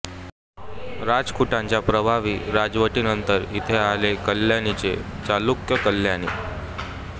राष्ट्रकुटांच्या प्रभावी राजवटीनंतर इथे आले कल्याणीचे चालुक्य कल्याणी